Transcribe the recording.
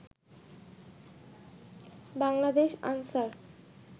Bangladesh Ansar